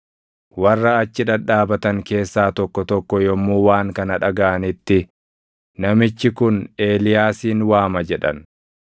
Warra achi dhadhaabatan keessaa tokko tokko yommuu waan kana dhagaʼanitti, “Namichi kun Eeliyaasin waama” jedhan.